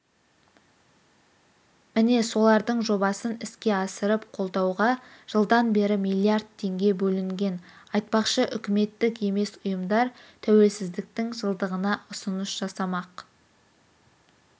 міне солардың жобасын іске асырып қолдауға жылдан бері миллиард теңге бөлінген айтпақшы үкіметтік емес ұйымдар тәуелсіздіктің жылдығына ұсыныс жасамақ